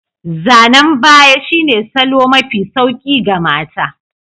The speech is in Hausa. Zanen ɓaya shine salo mai sauƙi ga mata.